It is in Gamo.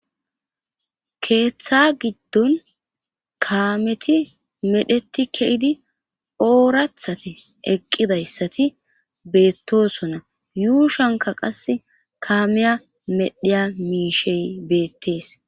keeththa giddon kaameti medheti ke7idi oorathate eqqidayssati beettosona yuushanka qas kaameya medhiya miishey beettees